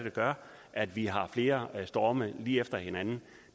gør at vi har flere storme lige efter hinanden